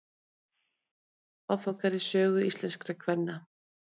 ártöl og áfangar í sögu íslenskra kvenna